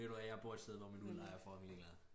Ved du hvad jeg bor et sted hvor min udlejer er fucking ligeglad